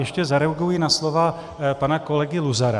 Ještě zareaguji na slova pana kolegy Luzara.